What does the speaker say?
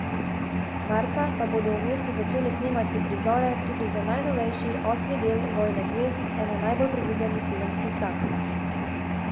Marca pa bodo v mestu začeli snemati prizore tudi za najnovejši, osmi del Vojne zvezd, ene najbolj priljubljenih filmskih sag.